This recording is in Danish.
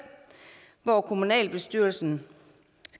hvor kommunalbestyrelsen